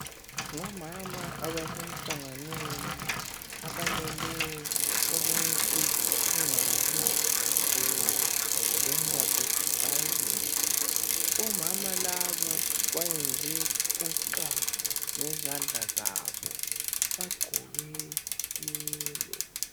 Ngomama abasemhlanganweni abamele ukuthi kungabi lejenda bhesidi vayolensi. Omama laba bayenze uxa ngezandla zabo. Bagqoke yelo.